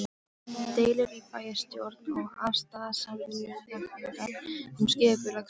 Deilur í bæjarstjórn og afstaða Samvinnunefndar um skipulagsmál